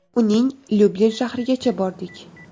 Uning Lyublin shahrigacha bordik.